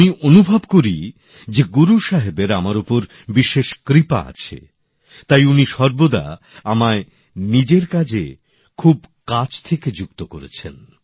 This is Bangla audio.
আমি অনুভব করি যে গুরু সাহেবের আমার ওপর বিশেষ কৃপা আছে তাই উনি সর্বদা আমায় নিজের কাজে খুব কাছ থেকে যুক্ত করেছেন